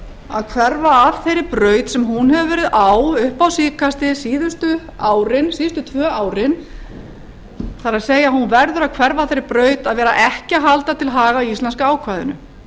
að hverfa af þeirri braut sem hún hefur verið á upp á síðkastið síðustu tvö árin það er hún verður að hverfa af þeirri braut að vera ekki að halda til haga íslenska ákvæðinu